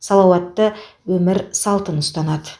салауатты өмір салтын ұстанады